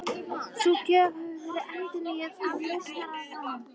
Sú gjöf hafi verið endurnýjuð af Lausnaranum.